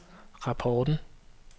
rapporten